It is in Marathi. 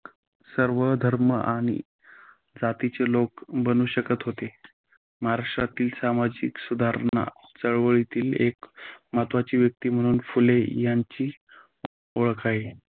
सर्व धर्म आणि जातीचे लोक बनू शकत होते. महाराष्ट्रातील सामाजिक सुधारणा चळवळीतील एक महत्त्वाची व्यक्ती म्हणून फुले यांची ओळख आहे.